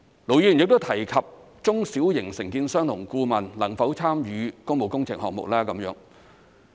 盧議員亦提及中小型承建商和顧問能否參與工務工程項目的問題。